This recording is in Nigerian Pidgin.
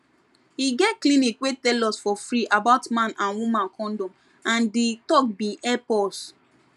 e get clinic wey tell us for free about man and woman condom and di talk bin help us